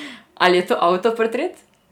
Ali je to avtoportret?